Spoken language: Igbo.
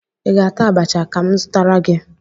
Ị ga-ata abacha ka m zụtara gị?